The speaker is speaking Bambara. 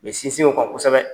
U bi sinsin o kan kosɛbɛ.